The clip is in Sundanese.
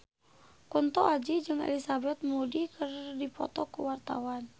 Kunto Aji jeung Elizabeth Moody keur dipoto ku wartawan